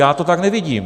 Já to tak nevidím.